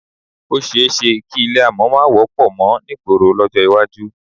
Ó s̩e é s̩e kí ilé àmò̩ má wó̩pò̩ mo̩ nígboro ló̩jó̩ iwájú